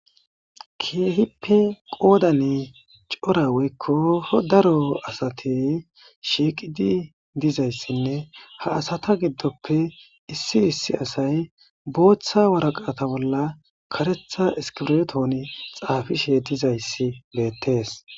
keehippe qoodani cora weykko daro asatey shiiqidi dizayssinne ha asata giddoppe issi issi asay booththa waraqata bolla karetha iskirotoon xaafishe dizayssi beettees